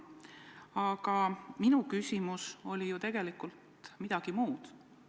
Aga minu küsimus oli ju tegelikult millegi muu kohta.